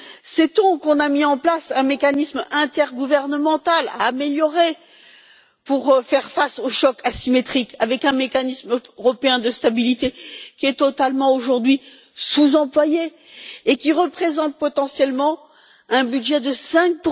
Sait on qu'on a mis en place un mécanisme intergouvernemental à améliorer pour faire face aux chocs asymétriques, avec le mécanisme européen de stabilité qui est aujourd'hui totalement sous employé et qui représente potentiellement un budget de 5